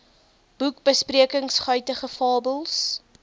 boekbesprekings guitige fabels